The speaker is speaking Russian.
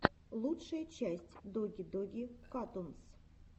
лучшая часть доги доги катунс